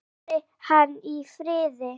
Fari hann í friði.